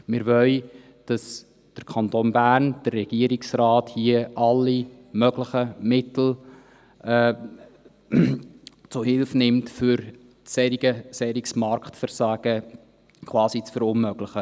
Wir wollen, dass der Kanton Bern, der Regierungsrat, hier alle möglichen Mittel zu Hilfe nimmt, um solches Marktversagen quasi zu verunmöglichen.